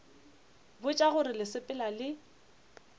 botša gore le sepela le